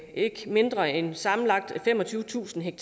ikke mindre end sammenlagt femogtyvetusind